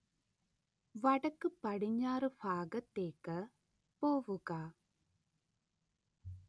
വടക്കുപടിഞ്ഞാറ് ഭാഗത്തേക്ക് പോവുക